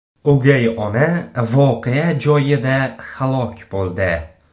O‘gay ona voqea joyida halok bo‘ldi.